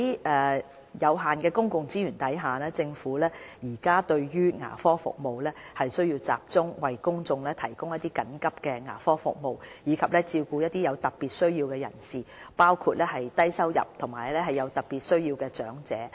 在有限的公共資源下，政府在提供牙科服務時，有需要集中為公眾提供緊急牙科服務，以及照顧一些有特別需要的人士，包括低收入及有特別需要的長者。